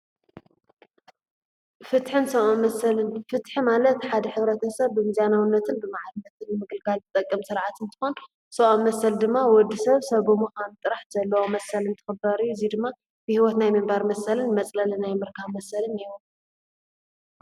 ፍትሕን ሰብዓዊ መሰልን ፍትሕ ማለት ሓድ ኅብረተ ሰብ ብምናውነትን ብመዓልትን ምግልጋል ቲጠቀም ሥርዓትን ተኾን ሰብዓዊ መሰል ድማ ወዲ ሰብ ሰብ ሙኻን ጥራሕ ዘለዎ መሰልን ተኽዳርዩ እዙይ ድማ ብሕይወትናይ ምንባር መሰልን መጽለሊ ናይ ምርካብ ፍትሕን መሰልን ይረአያ።